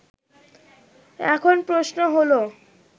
এখন প্রশ্ন হলো